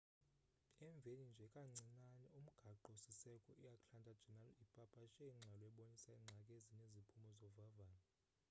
emveni nje kancinane umgaqo siseko i atlanta journal ipapashe ingxelo ebonisa iingxaki ezineziphumo zovavanyo